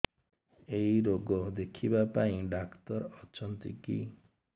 ଏଇ ରୋଗ ଦେଖିବା ପାଇଁ ଡ଼ାକ୍ତର ଅଛନ୍ତି କି